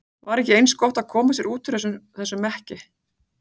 Var ekki eins gott að koma sér út úr þessum mekki?